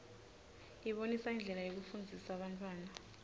ibonisa indlela yekufundzisa bantfwana